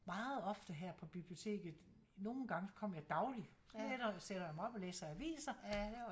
Meget ofte her på biblioteket nogle gange så kommer jeg dagtligt sætter jeg mig op og læser aviser